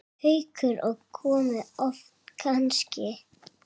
Haukur: Og komið oft kannski?